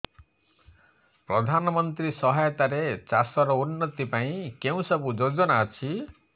ପ୍ରଧାନମନ୍ତ୍ରୀ ସହାୟତା ରେ ଚାଷ ର ଉନ୍ନତି ପାଇଁ କେଉଁ ସବୁ ଯୋଜନା ଅଛି